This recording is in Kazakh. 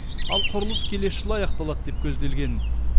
ал құрылыс келесі жылы аяқталады деп көзделген